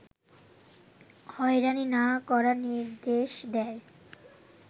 হয়রানি না করার নির্দেশ দেয়